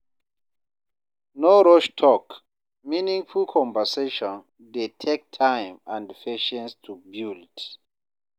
No rush talk; meaningful conversation dey take time and patience to build.